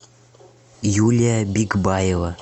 юлия бикбаева